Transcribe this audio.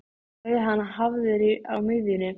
Verður hann hafður á miðjunni?